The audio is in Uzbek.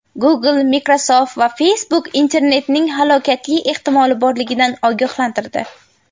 Google, Microsoft va Facebook internetning halokati ehtimoli borligidan ogohlantirdi.